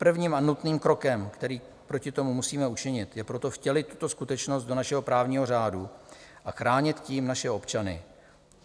Prvním a nutným krokem, který proti tomu musíme učinit, je proto vtělit tuto skutečnost do našeho právního řádu a chránit tím naše občany.